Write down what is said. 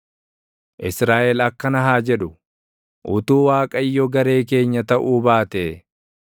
Israaʼel akkana haa jedhu: Utuu Waaqayyo garee keenya taʼuu baatee,